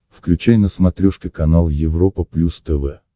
включай на смотрешке канал европа плюс тв